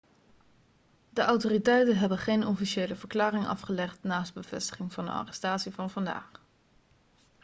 de autoriteiten hebben geen officiële verklaring afgelegd naast de bevestiging van de arrestatie van vandaag